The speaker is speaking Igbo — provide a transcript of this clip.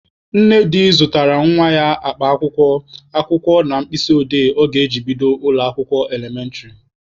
Nnedi zụtara nwa ya akpa akwụkwọ, akwụkwọ na mkpịsị odee ọ ga-eji bido ụlọ akwụkwọ elementịrị.